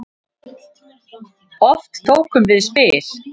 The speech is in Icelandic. Oft tókum við spil.